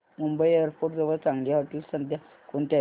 Mumbai airport जवळ चांगली हॉटेलं सध्या कोणती आहेत